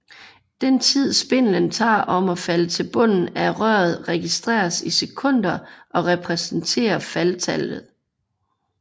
Den tid spindlen tager om at falde til bunden af røret registreres i sekunder og repræsenterer faldtallet